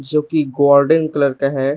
जो की golden colour का है।